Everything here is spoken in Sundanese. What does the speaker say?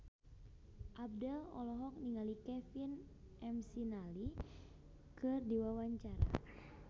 Abdel olohok ningali Kevin McNally keur diwawancara